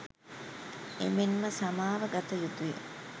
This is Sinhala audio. එමෙන්ම සමාව ගත යුතුය.